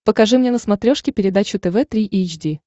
покажи мне на смотрешке передачу тв три эйч ди